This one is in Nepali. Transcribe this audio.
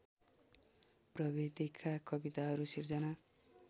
प्रवृत्तिका कविताहरू सिर्जना